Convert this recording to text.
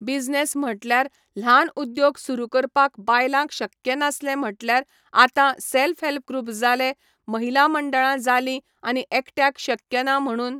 business म्हटल्यार ल्हान उद्योग सुरू करपाक बायलांक शक्य नासलें म्हटल्यार आतां सॅल्फ हॅल्प ग्रुप जाले महिला मंडळां जालीं आनी एकट्याक शक्य ना म्हणुन